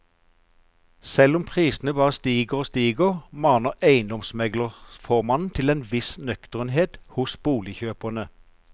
Selv om prisene bare stiger og stiger, maner eiendomsmeglerformannen til en viss nøkternhet hos boligkjøperne.